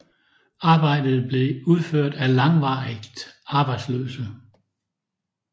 Arbejdet blev udført af langvarigt arbejdsløse